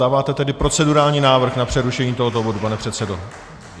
Dáváte tedy procedurální návrh na přerušení tohoto bodu, pane předsedo?